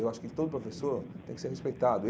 Eu acho que todo professor tem que ser respeitado.